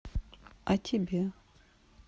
а тебе